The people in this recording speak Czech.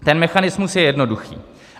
Ten mechanismus je jednoduchý.